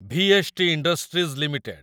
VST. Industries limited